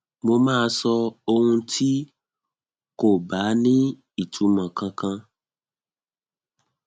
mo máa sọ ohun tí kò bá ní ìtumọ kankan